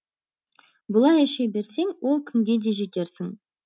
бұлай іше берсең ол күнге де жетерсің